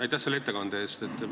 Aitäh selle ettekande eest!